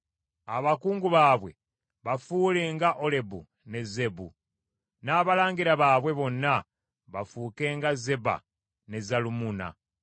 Abakungu baabwe bafuule nga Olebu ne Zeebu, n’abalangira baabwe bonna bafuuke nga Zeba ne Zalumunna,